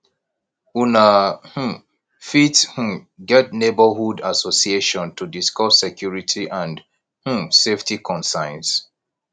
una um fit um get neighbourhood assosiation to discuss security and um safety concerns